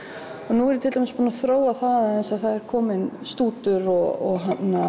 nú er ég til dæmis búin að þróa það aðeins það er kominn stútur og